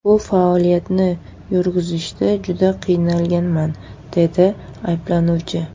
Bu faoliyatni yurgizishda juda qiynalganman”, deydi ayblanuvchi.